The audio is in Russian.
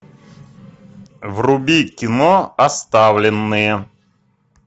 вруби кино оставленные